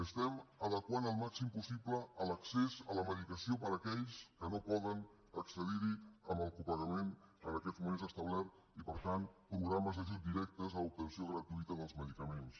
estem adequant al màxim possible l’accés a la medicació per a aquells que no poden accedir al copagament en aquests moments establert i per tant programes d’ajut directes a l’obtenció gratuïta dels medicaments